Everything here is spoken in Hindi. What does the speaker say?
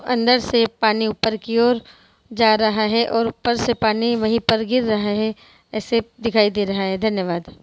अंदर से पानी ऊपर की और जा रहा है और ऊपर से पानी वही पर गिर रहा है ऐसे दिखाई दे रहा है धन्यवाद।